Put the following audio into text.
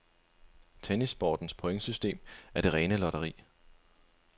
Tennissportens pointsystem er det rene lotteri.